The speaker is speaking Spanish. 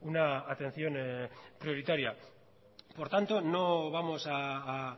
una atención prioritaria por tanto no vamos a